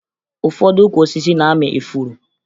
Ụfọdụ ukwu osisi na-amị ifuru